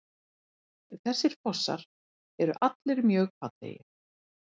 Þessir fossar eru allir mjög fallegir.